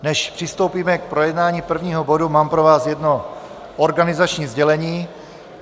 Než přistoupíme k projednávání prvního bodu, mám pro vás jedno organizační sdělení.